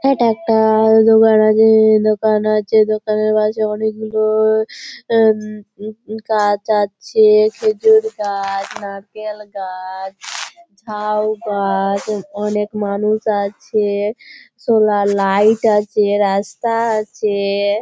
এটা একটা-আ দোকান নাকি-ই দোকান আছে দোকানের পাশে অনেকগুলোও উঁ উঁ গাছ আছে খেজুর গাছ নারকেল গাছ ঝাউ গাছ অনেক মানুষ আছে সোলার লাইট আছে রাস্তা আছে-এ।